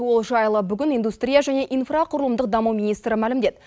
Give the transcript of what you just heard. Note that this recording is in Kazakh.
ол жайлы бүгін индустрия және инфрақұрылымдық даму министрі мәлімдеді